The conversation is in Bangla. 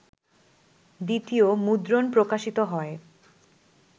দ্বিতীয় মুদ্রণ প্রকাশিত হয়